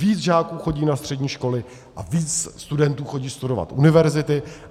Víc žáků chodí na střední školy a víc studentů chodí studovat univerzity.